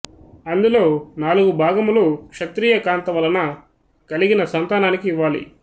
అందులో నాలుగు భాగములు క్షత్రియ కాంత వలన కలిగిన సంతానానికి ఇవ్వాలి